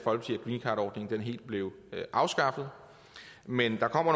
greencardordningen helt blev afskaffet men der kommer